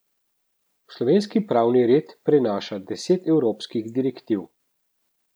V slovenski pravni red prenaša deset evropskih direktiv.